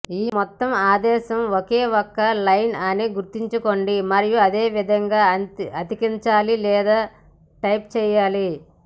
ఈ మొత్తం ఆదేశం ఒకే ఒక్క లైన్ అని గుర్తుంచుకోండి మరియు ఆ విధంగా అతికించాలి లేదా టైప్ చేయాలి